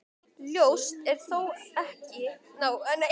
Ljóst er þó að ekki eiga ávallt sömu lagasjónarmið við um þessa tvo flokka.